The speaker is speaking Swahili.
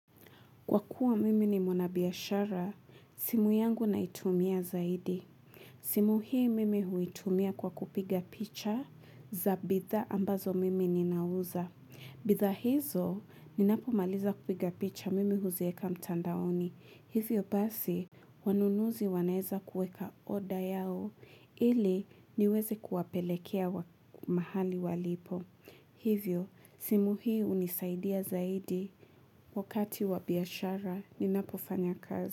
Kwa kuwa mimi ni mwanabiashara, simu yangu naitumia zaidi. Simu hii mimi huitumia kwa kupiga picha za bidhaa ambazo mimi ninauza. Bidhaa hizo, ninapomaliza kupiga picha mimi huziweka mtandaoni. Hivyo basi, wanunuzi wanaweza kuweka oda yao ili niweze kuwapelekea mahali walipo. Hivyo, simu hii hunisaidia zaidi wakati wa biashara ninapofanya kazi.